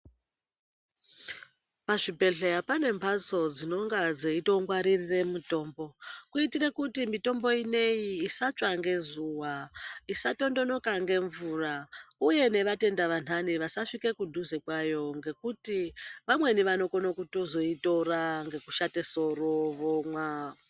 Pazvibhedhleya pane mphatso dzinonga dzeitongwaririre mitombo, kuitire kuti mitombo ineyi isatsva ngezuwa, isatondonoka ngemvura, uye nevatenda vanhani vasasvike kudhuze kwayo ngekuti vamweni vanokone kutozoitora, voshate soro, vomwa.